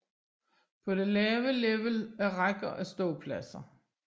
På det lave level er rækker af ståpladser